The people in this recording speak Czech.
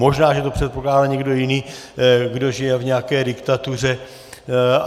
Možná že to předpokládá někdo jiný, kdo žije v nějaké diktatuře.